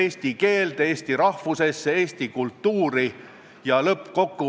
Komisjon tegeles selle eelnõuga kahel koosolekul, 15. oktoobril ja 16. oktoobril.